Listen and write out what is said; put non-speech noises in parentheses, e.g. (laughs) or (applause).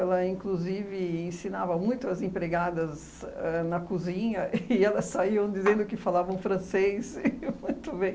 Ela, inclusive, ensinava muito às empregadas ãh na cozinha (laughs) e elas saíam dizendo que falavam francês muito bem.